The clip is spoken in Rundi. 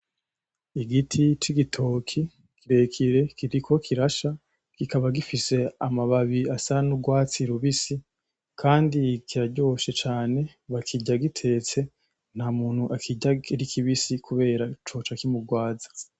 Igiti c'igitoki kirekire kiriko kirasha kikaba gifise amababi asa n'ugwatsi rubisi kandi kiraryoshe cane bakirya gitetse nta muntu akirya ari kibisi kubera coca kimugwaza.